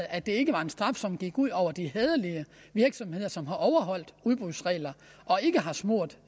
at det ikke var en straf som gik ud over de hæderlige virksomheder som har overholdt udbudsreglerne og ikke har smurt